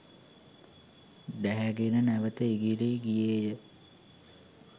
ඩැහැ ගෙන නැවත ඉගිලී ගියේය